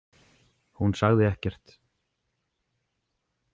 Hún sagði ekkert.